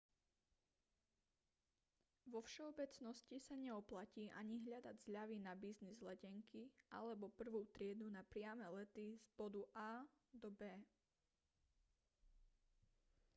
vo všeobecnosti sa neoplatí ani hľadať zľavy na business letenky alebo prvú triedu na priame lety z bodu a do b